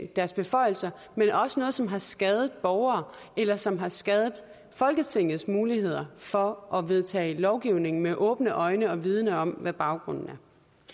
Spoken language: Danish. deres beføjelser men også noget som har skadet borgere eller som har skadet folketingets muligheder for at vedtage lovgivning med åbne øjne og vidende om hvad baggrunden